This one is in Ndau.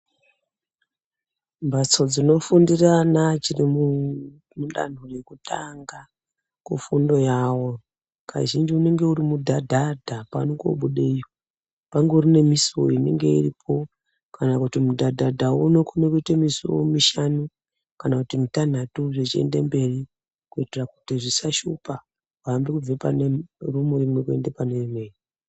Mbatso dzinofundira ana achiri mudando yekutanga mufundo yavo kazhinji unenge uri mudhadhadha pano kobude iyo ,pangori nemusuwo inenge iripo kana kuti mudhadhadhawo unokona kuita musiwo mishanu kana mitanhatu kuti zvisashupa kubva pane imweni kuenda pane imweni.